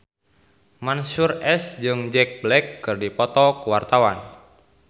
Mansyur S jeung Jack Black keur dipoto ku wartawan